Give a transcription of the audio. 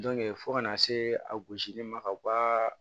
fo kana se a gosili ma ka bɔ ka